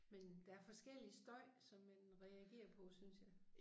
Men der forskellig støj som man reagerer på synes jeg